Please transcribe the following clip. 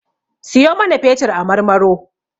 Siyo mana fetur a Marmaro.